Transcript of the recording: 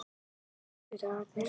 föstudagarnir